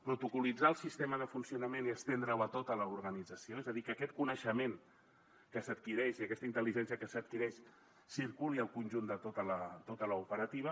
protocol·litzar el sistema de funcionament i estendre’l a tota l’organització és a dir que aquest coneixement que s’adquireix i aquesta intel·ligència que s’adquireix circuli al conjunt de tota l’operativa